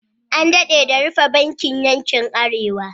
An daɗe da rufe bankin yankin Arewa.